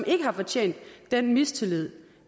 ikke har fortjent den mistillid